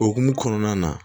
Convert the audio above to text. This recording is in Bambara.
Okumu kɔnɔna na